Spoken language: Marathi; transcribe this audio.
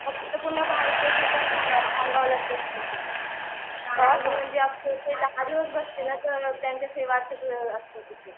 फक्त पूर्ण भारत देशातून खामगावला ते दहा दिवस बसते ना आम्ही सेवातच असतो तिथे